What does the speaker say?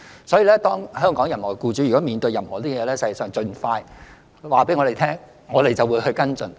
所以，如果任何香港僱主面對有關情況，應盡快告訴我們，我們會跟進。